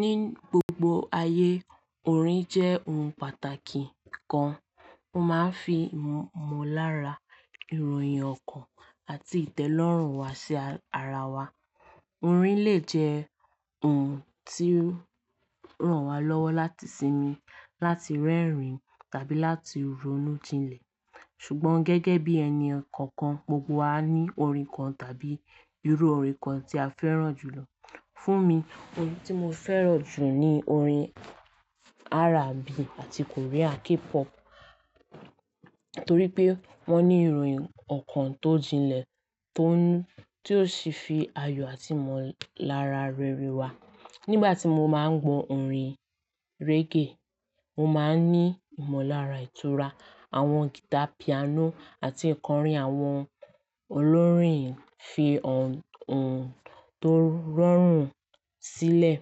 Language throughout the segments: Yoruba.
Ní gbogbo ayé, orin jẹ́ ohun pàtàkì kan. Wọ́n máa ń fi mọ lára, ìròyìn ọkàn àti ìtẹ́lọ́rùn wa sí ara wa. Orin lè jẹ́ ohun tí ó ràn wá lọ́wọ́ láti sinmi, láti rẹ́rìn-ín tàbí láti ronú jinlẹ̀. Ṣùgbọ́n gẹ́gẹ́ bí ẹni kọ̀ọ̀kan, gbogbo wa ní orin kan tàbí irú orin kan tí a fẹ́ràn jù lọ. Fún mi, orin tí mo fẹ́ràn jù ni orin R&B àti Korean K-pop, torí pé wọ́n ní ìròyìn ọkàn tó jinlẹ̀ tó sì fi ayọ̀ àti ìmọ̀lára rere wá. Nígbà tí mo máa ń gbọ orin reggae, mo máa ń ní ìmọ̀lára ìtura. Àwọn guitar, piano àti ìkọrín àwọn olórin fi ohun tó rọrùn sílẹ̀.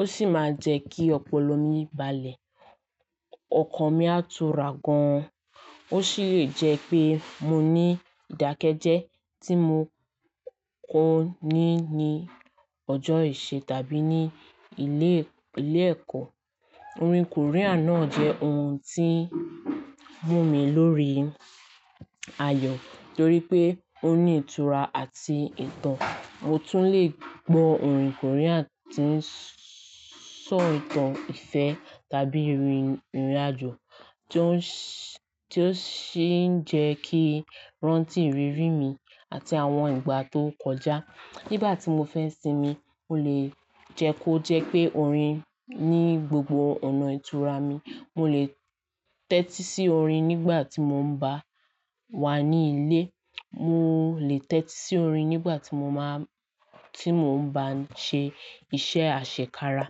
Ó sì máa ń jẹ́ kí ọpọlọ mi balẹ̀, ọkàn mi á tura gan-an. Ó sì lè jẹ́ pé mo ní ìdákẹ́jẹ́ tí mo kó ni ní ọjọ́ ìṣe tàbí ní ilé-ẹ̀kọ́. Orin Korean náà jẹ́ ohun tí ń mú mi lórí ayọ̀ torí pé ó ní ìtura àti ìtàn. Mo tún lè gbọ orin Korean tí ń sọ ìtàn ìfẹ́ tàbí ìrìnàjò tí ó sì ń jẹ́ kí rántí iriri mi àti àwọn ìgbà tó ti kọjá. Nígbà tí mo fẹ́ sinmi, mo lè jẹ́ kó jẹ́ pé orin ní gbogbo ọ̀nà ìtura mi. Mo lè tẹ́tí sí orin nígbà tí mo bá wà ní ilé. Mo lè tẹ́tí sí orin nígbà tí mo bá ń ṣe iṣẹ́ àṣekára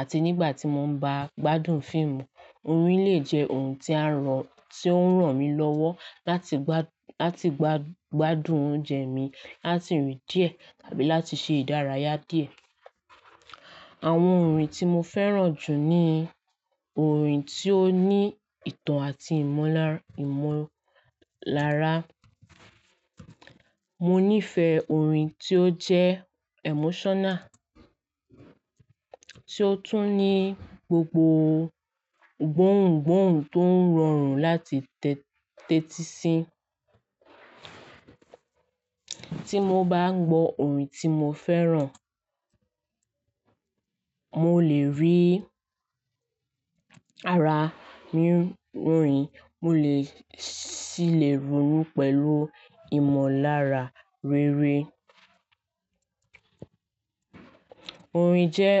àti nígbà tí mo bá ń gbádùn fíìmù. Orin lè jẹ́ ohun tí ó ń ràn mí lọ́wọ́ láti gbádùn oúnjẹ mi, láti rìn díẹ̀ tàbí láti ṣe ìdárayá díẹ̀. Àwọn orin tí mo fẹ́ràn jù ni orin tí ó ní ìtàn àti ìmọ̀lára. Mo nífẹ̀ẹ́ orin tí ó jẹ́ emotional, tí ó tún ní gbogbo gbóhùn-gbóhùn tó ń rọrùn láti tẹ́tí sí. Tí mo bá ń gbọ orin tí mo fẹ́ràn, mo lè rí ara mi ń rìn, mo sì lè ronú pẹ̀lú ìmọ̀lára rere. Orin jẹ́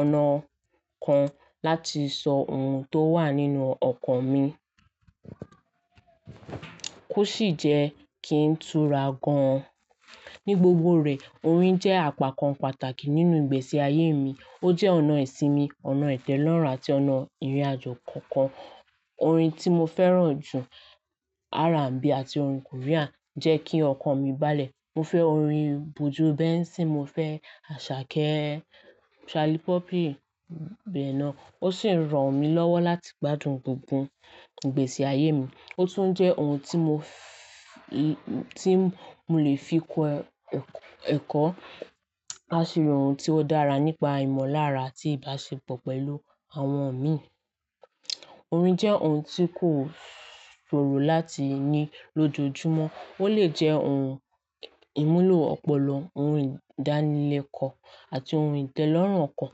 ọ̀nà kan láti sọ ohun tó wà nínú ọkàn mi. Ó sì jẹ́ kí n tura gan-an. Ní gbogbo rẹ̀, orin jẹ́ àga kàn pàtàkì nínú ìgbésí ayé mi. Ó jẹ́ ọ̀nà ìsinmi, ọ̀nà ìtẹ́lọ́rùn àti ọ̀nà ìrìnàjò kọ̀ọ̀kan. Orin tí mo fẹ́ràn jù, R&B àti orin Korean, jẹ́ kí ọkàn mi balẹ̀. Mo fẹ́ orin bojú benson, mo fẹ́ Àṣàkẹ́, Shalipopi bẹ́ẹ̀ lọ. Ó sì ń ràn mí lọ́wọ́ láti gbádùn gbogbo ìgbésí ayé mi. Ó tún jẹ́ ohun tí mo lè fi kọ ẹ̀kọ́ àṣírí, ohun tí ó dára nípa ìmọ̀lára àti ìbáṣepọ̀ pẹ̀lú àwọn imíi. Orin jẹ́ ohun tí kò ṣòro láti ní lójoojúmọ́. Ó lè jẹ́ ohun ìmúlò ọpọlọ, ohun ìdánilẹ́kọ̀ọ́ àti ohun ìtẹ́lọ́rùn ọkàn.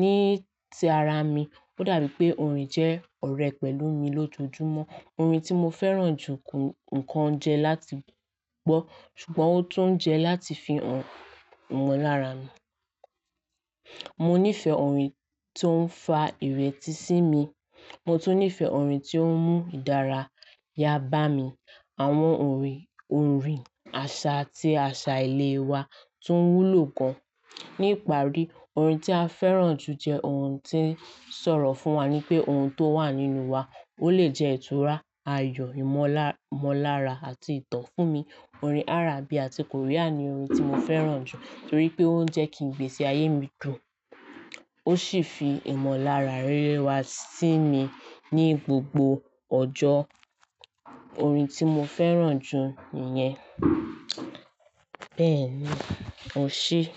Ní ti ara mi, ó dàbí pé orin jẹ́ ọ̀rẹ́ pẹ̀lú mi lójoojúmọ́. Orin tí mo fẹ́ràn jù kò nkan jẹ́ láti gbọ́, ṣùgbọ́n ó tún jẹ́ láti fi ìmọ̀lára mi. Mo nífẹ̀ẹ́ orin tó ń fa ìretí sí mi, mo tún nífẹ̀ẹ́ orin tí ó ń mú ìdárayá bá mi. Àwọn orin àṣà tí àṣà ilé wa tún wúlò gan-an. Ní ìparí, orin tí a fẹ́ràn jù jẹ́ ohun tí ń sọ̀rọ̀ fún wa ní pé ohun tó wà nínú wa. Ó lè jẹ́ ìtura, ayọ̀, ìmọ̀lára àti ìtàn. Fún mi, orin R&B àti Korean ni orin tí mo fẹ́ràn jù torí pé ó ń jẹ́ kí ìgbésí ayé mi dùn, ó sì fi ìmọ̀lára rere wá sí mi ní gbogbo ọjọ́. Orin tí mo fẹ́ràn jù nìyẹn. Bẹ́ẹ̀ ni, O se e.